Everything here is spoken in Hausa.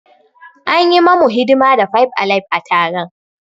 An yi mamu hidima da five alive a taron.